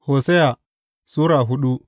Hosiya Sura hudu